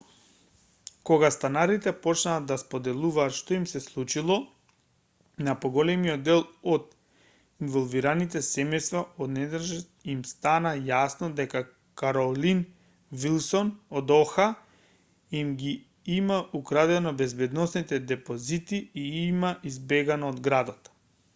кога станарите почнаа да споделуваат што им се случило на поголемиот дел од инволвираните семејства одненадеж им стана јасно дека каролин вилсон од оха им ги има украдено безбедносните депозити и има избегано од градот